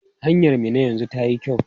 Hanyar Minna yanzu tayi kyau?